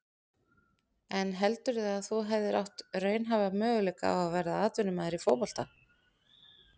En heldurðu að þú hefðir átt raunhæfa möguleika á að verða atvinnumaður í fótbolta?